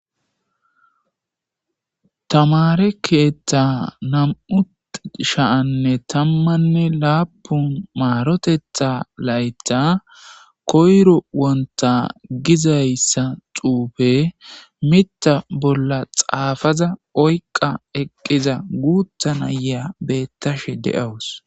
tamare keethta nam7utshaanne tammanne laapun maarotetha layta koyro wonta gizayssa xuufe mita bolla xaafaza oyqa eqqiza guutta nayeya beettashe de7awus